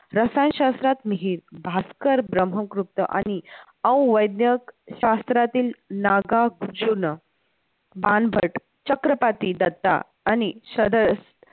रसायनशास्त्रात मिहीर, भास्कर ब्रम्हगुप्त आणि औवैद्नयक शास्त्रातील नागा भांबट्ट, चक्रपाती दत्ता आणि